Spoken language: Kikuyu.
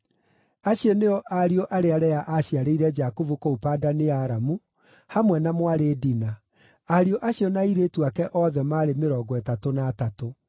Acio nĩo ariũ arĩa Lea aaciarĩire Jakubu kũu Padani-Aramu, hamwe na mwarĩ Dina. Ariũ acio na airĩtu ake othe maarĩ mĩrongo ĩtatũ na atatũ.